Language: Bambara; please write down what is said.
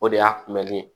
O de y'a kunbɛli ye